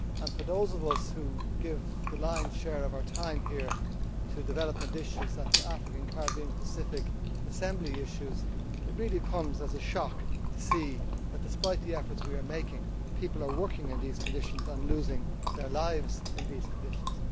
For those of us who give the lion's share of our time here to development issues and to African, Caribbean and Pacific Assembly issues, it really comes as a shock to see that, despite the efforts we are making, people are working and losing their lives in these conditions.